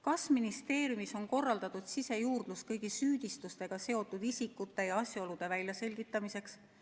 Kas ministeeriumis on korraldatud sisejuurdlus kõigi süüdistusega seotud isikute ja asjaolude väljaselgitamiseks?